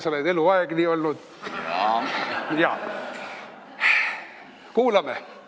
Sa oled eluaeg niisugune olnud Kuulame!